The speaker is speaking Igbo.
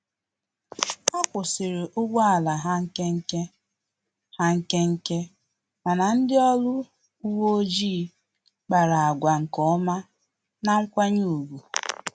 Akwusiri ụgbọ ala ha nkenke, ha nkenke, mana ndị ọrụ uwe ọjị kpara àgwà nkeọma na nkwanye ùgwù